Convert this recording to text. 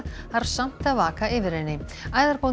þarf samt að vaka yfir henni